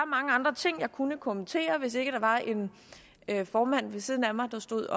mange andre ting jeg kunne kommentere hvis ikke der var en formand ved siden af mig der stod